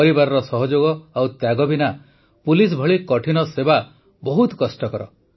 ପରିବାରର ସହଯୋଗ ଓ ତ୍ୟାଗ ବିନା ପୁଲିସ ଭଳି କଠିନ ସେବା ବହୁତ କଷ୍ଟକର